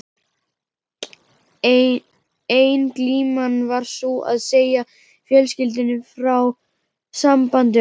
Ein glíman var sú að segja fjölskyldunni frá sambandi okkar.